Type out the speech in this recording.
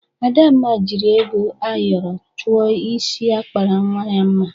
Adamma jiri ego ayọrọ chụọ isi akpara nwa ya mma.